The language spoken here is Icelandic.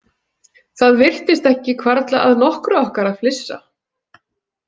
Það virtist ekki hvarfla að nokkru okkar að flissa.